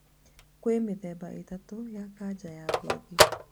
Kwĩ mĩthemba ĩtatũ ya kanja ya ngothi